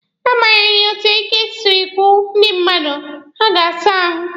Na agbanyeghị etu ike siri gwụ ndị mmadụ, ha ga-asa ahụ.